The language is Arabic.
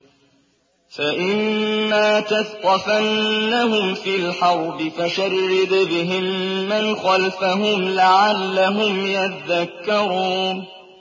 فَإِمَّا تَثْقَفَنَّهُمْ فِي الْحَرْبِ فَشَرِّدْ بِهِم مَّنْ خَلْفَهُمْ لَعَلَّهُمْ يَذَّكَّرُونَ